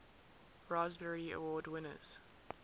raspberry award winners